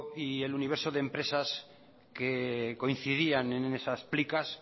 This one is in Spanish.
y el universo de empresas que coincidían en esas plicas